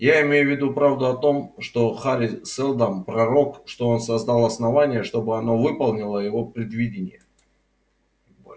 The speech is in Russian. я имею в виду правду о том что хари сэлдон пророк и что он создал основание чтобы оно выполнило его предвидение